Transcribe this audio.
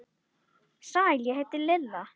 Sæl, ég heiti Lilla